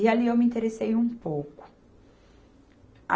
E ali eu me interessei um pouco. A